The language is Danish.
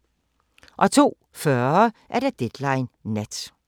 02:40: Deadline Nat